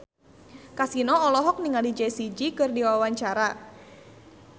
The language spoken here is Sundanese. Kasino olohok ningali Jessie J keur diwawancara